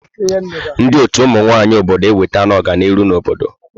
Ndị ọtù ụmụ nwaanyị obodo ewetela ọganiru n'obodo.